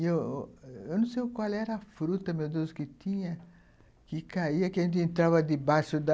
Eu eu não sei qual era a fruta meu Deus que tinha, que caía, que a gente entrava debaixo da...